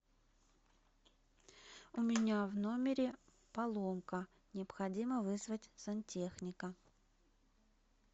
у меня в номере поломка необходимо вызвать сантехника